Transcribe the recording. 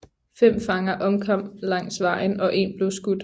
Fem fanger omkom langs vejen og én blev skudt